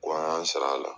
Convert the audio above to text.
Ko an y'an sara